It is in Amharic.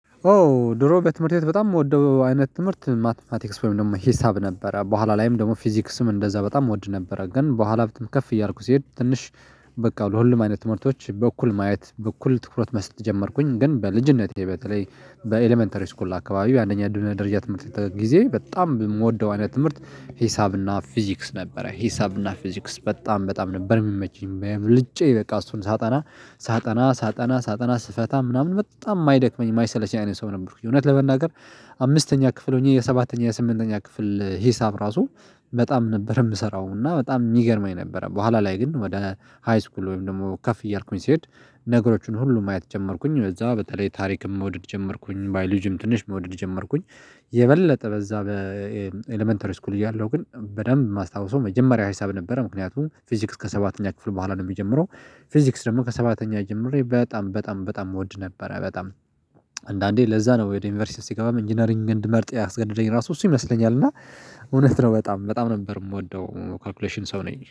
ኦ ድሮ በትምህርት ቤት በጣም እምወደው አይነት ትምህርት ማትማቲክስ ወይም ደግሞ ሂሳብ ነበረ። በኋላ ላይም ደግሞ ፊዚክስም እንደዛ በጣም እወድ ነበረ። ግን በኋላ በትምህርት ከፍ እያልኩ ሲሄድ ትንሽ በቃ ለሁሉም አይነት ትምህርቶች በኩል ማየት በኩል ትኩረት መስጥ ጀመርኩኝ። ግን በልጂነቴ በተለይ በኤለመንተሪ ስኩል አካባቢ አንደኛ ደረጃ የትምህርት ጊዜ በጣም የምወደው አይነት ትምህርት ሂሳብና ፊዚክስ ነበረ። ሂሳብና ፊዚክስ በጣም በጣም ነበር የሚመቸኝ። ብልጭ በቃ እሱን ሳጠና ሳጠና ሳጠና ሳጠና ስፈታ ምናምን በጣም የማይደክመኝ የማይሰለች አይነት ሰው ነበርኩኝ። እውነት ለመናገር አምስተኛ ክፍል ሆኜ የሰባተኛ የስምንተኛ ክፍል ሂሳብ ራሱ በጣም ነበር የምሰራውና በጣም የሚገርመኝ ነበር። በኋላ ላይ ግን ወደ ሃይስኩል ወይም ደግሞ ከፍ እያልኩኝ ሲሄድ ነገሮቹን ሁሉ ማየት ጀመርኩኝ ከዛ በተለይ ታሪክም መውደድ ጀመርኩኝ ባይወሎጂም ትንሽ መውደድ ጀመርኩኝ። የበለጠ በዛ በኤለመንተሪ ስኩል እያለሁ ግን በደንብ የማስታውሰው መጀመሪያ ሂሳብ ነበረ። ምክንያቱም ፊዚክስ ከሰባተኛ ክፍል በኋላ ነው የሚጀምረው። ፊዚክስ ደግሞ ከሰባተኛ ጀምሬ በጣም በጣም በጣም እወድ ነበረ። በጣም አንዳንዴ ለዛ ነው ወደ ዩኒቨርሲቲ ስትገባ ኢንጂነሪንግ እንድመርጥ ያስገደደኝ ራሱ እሱ ይመስለኛል። እና እውነት ነው በጣም በጣም ነበር የምወደው። ካልኩሌሽን ሰው ነኝ